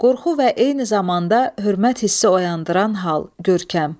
Qorxu və eyni zamanda hörmət hissi oyandıran hal, görkəm.